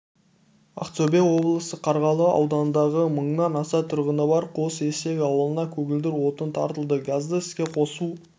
ақтөбе облысы қарғалы ауданындағы мыңнан аса тұрғыны бар қос-естек ауылына көгілдір отын тартылды газды іске қосу